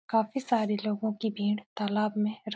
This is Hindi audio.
काफी सारे लोगों की भीड़ तालाब में --